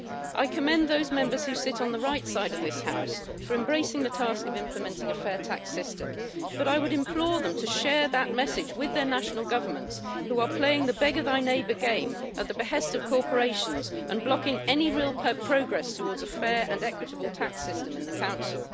I commend those Members who sit on the right side of this House for embracing the task of implementing a fair tax system, but I would implore them to share that message with their national governments, who are playing the beggar-thy-neighbour game at the behest of corporations and blocking any real progress towards a fair and equitable tax system in the Council.